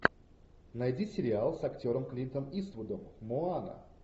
найди сериал с актером клинтом иствудом моана